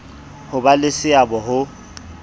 ho ba le seabo ha